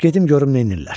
Gedim görüm neynirlər.